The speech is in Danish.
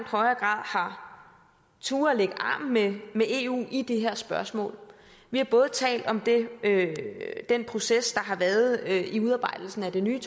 grad har turdet lægge arm med eu i det her spørgsmål vi har talt om den proces der har været i udarbejdelsen af det nye